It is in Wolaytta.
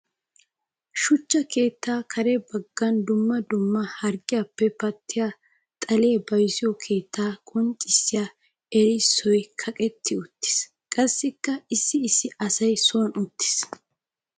Shuchcha keetta kare bagan dumma dumma harggiyappe pattiya xalliya bayzziyo keetta qonccissiya erissoy kaqqetti uttiis. Qassikka issi issi asay son uttis.